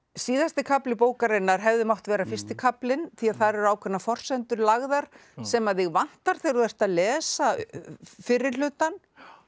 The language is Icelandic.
síðasti kafli bókarinnar hefði mátt vera fyrsti kaflinn því þar eru ákveðnar forsendur lagðar sem að þig vantar þegar þú ert að lesa fyrri hlutann